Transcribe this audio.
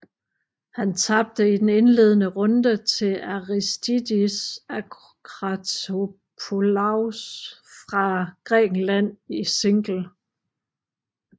Han tabte i den indledende runde til Aristidis Akratopoulos fra Grækenland i single